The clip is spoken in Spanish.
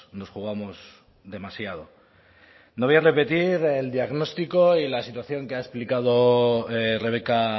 nos jugamos demasiado no voy a repetir el diagnóstico y la situación que ha explicado rebeka